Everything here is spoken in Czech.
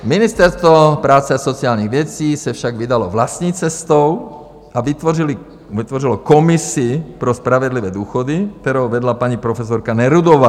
Ministerstvo práce a sociálních věcí se však vydalo vlastní cestou a vytvořilo komisi pro spravedlivé důchody, kterou vedla paní profesorka Nerudová.